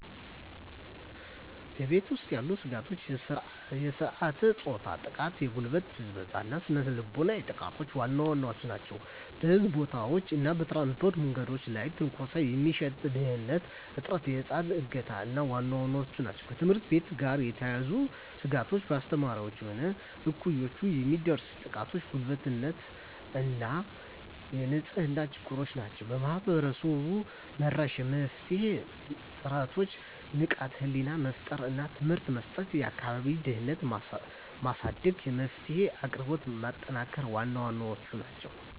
በቤት ውስጥ ያሉ ስጋቶች የሥርዓተ-ፆታ ጥቃ፣ የጉልበት ብዝበዛ እና ስነ ልቦናዊ ጥቃቶች ዋና ዋናዎቹ ናቸው። በሕዝብ ቦታዎች እና በትራንስፖርት የመንገድ ላይ ትንኮሳ፣ የምሽት ደህንንነት እጥረት፣ የህፃናት እገታ ዋና ዋናዎቹ ናቸው። ከትምህርት ቤት ጋር የተያያዙ ስጋቶች በአስተማሪዎች ወይም እኩዮች የሚደርስ ጥቃትና ጉልበተኝነት እና የንጽህና ችግሮች ናቸው። ማህበረሰብ-መራሽ የመፍትሄ ጥረቶች ንቃተ ህሊና መፍጠር እና ትምህርት መስጠት፣ የአካባቢ ደህንነትን ማሳደግ፣ የመፍትሄ አቅራቢነትን ማጠናከር ዋና ዋናዎቹ ናቸው።